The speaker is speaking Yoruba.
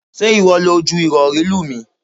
Ṣé ìwọ lọ ju Ìrọ̀rí lù mí?